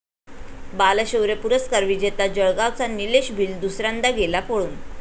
बालशौर्य पुरस्कार विजेता जळगावचा निलेश भिल दुसऱ्यांदा गेला पळून